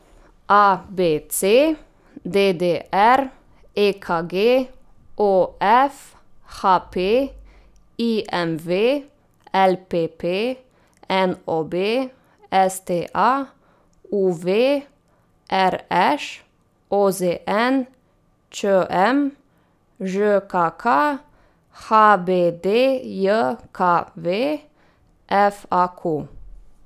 A B C; D D R; E K G; O F; H P; I M V; L P P; N O B; S T A; U V; R Š; O Z N; Č M; Ž K K; H B D J K V; F A Q.